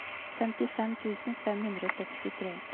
femtifem tusen fem hundre og sekstitre